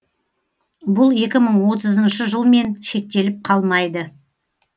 бұл екі мың отызыншы жылмен шектеліп қалмайды